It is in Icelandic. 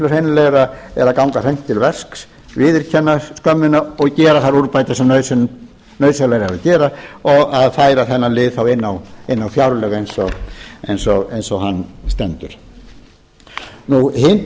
hreinlegra er að ganga beint til verks viðurkenna skömmina og gera þær úrbætur sem nauðsynlegt er að gera og og að færa þennan lið þá inn á fjárlög eins og hann stendur hin